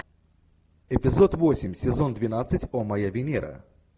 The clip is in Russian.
эпизод восемь сезон двенадцать о моя венера